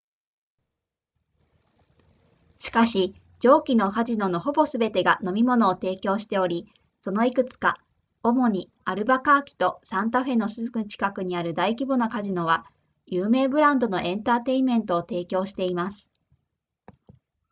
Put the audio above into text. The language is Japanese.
しかし上記のカジノのほぼすべてが飲み物を提供しておりそのいくつか主にアルバカーキとサンタフェのすぐ近くにある大規模なカジノは有名ブランドのエンターテイメントを提供しています